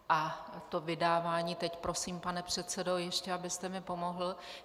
A to vydávání - teď prosím, pane předsedo, ještě abyste mi pomohl.